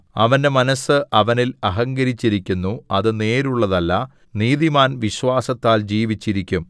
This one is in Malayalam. അവന്റെ മനസ്സ് അവനിൽ അഹങ്കരിച്ചിരിക്കുന്നു അത് നേരുള്ളതല്ല നീതിമാൻ വിശ്വാസത്താൽ ജീവിച്ചിരിക്കും